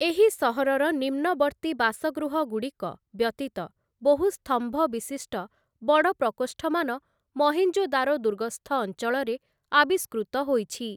ଏହି ସହରର ନିମ୍ନବର୍ତ୍ତି ବାସଗୃହଗୁଡ଼ିକ ବ୍ୟତୀତ ବହୁ ସ୍ତମ୍ଭ ବିଶିଷ୍ଟ ବଡ଼ ପ୍ରକୋଷ୍ଠମାନ ମହେଞ୍ଜୋଦାରୋ ଦୁର୍ଗସ୍ଥ ଅଞ୍ଚଳରେ ଆବିଷ୍କୃତ ହୋଇଛି ।